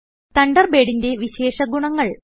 തണ്ടർബേഡിന്റെ വിശേഷ ഗുണങ്ങൾ